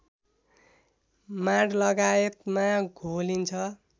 माँड लगायतमा घोलिन्छ